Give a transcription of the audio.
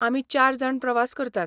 आमी चार जाण प्रवास करतात.